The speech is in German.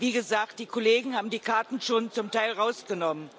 Wie gesagt, die Kollegen haben die Karten schon zum Teil herausgenommen.